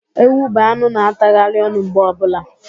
Ewu bụ anụ na- atagharị ọnụ mgbe ọbụla.